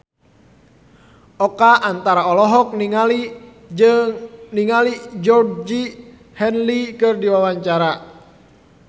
Oka Antara olohok ningali Georgie Henley keur diwawancara